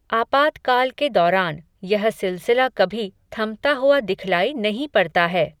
आपातकाल के दौरान, यह सिलसिला कभी, थमता हुआ दिखलाई नहीं पड़ता है